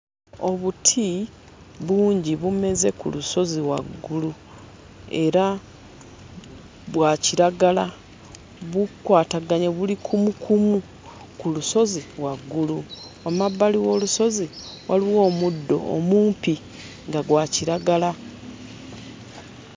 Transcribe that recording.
Obuti bungi bumeze ku lusozi waggulu era bwa kiragala bukwataganye buli kumukumu ku lusozi waggulu wamabbali w'olusozi waliwo omuddo omumpi nga gwa kiragala.